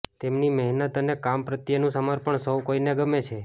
તેમની મહેનત અને કામ પ્રત્યેનું સમર્પણ સૌ કોઇને ગમે છે